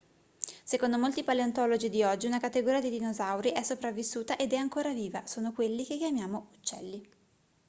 secondo molti paleontologi di oggi una categoria di dinosauri è sopravvissuta ed è ancora viva sono quelli che chiamiamo uccelli